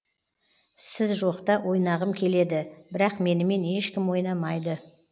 сіз жоқта ойнағым келеді бірақ менімен ешкім ойнамайды